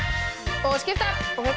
og skipta